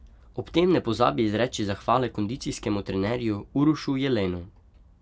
Ob tem ne pozabi izreči zahvale kondicijskemu trenerju Urošu Jelenu.